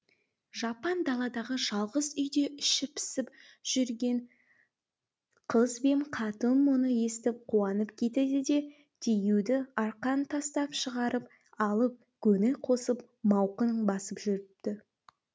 жапан даладағы жалғыз үйде іші пысып жүрген қыз бен қатын мұны естіп қуанып кетеді де диюды арқан тастап шығарып алып көңіл қосып мауқын басып жүріпті